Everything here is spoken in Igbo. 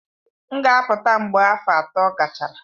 M ga-apụta mgbe afọ atọ gachara.